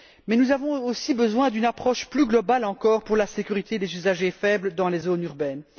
Mais nous avons aussi besoin d'une approche plus globale encore pour la sécurité des usagers faibles dans les zones urbaines.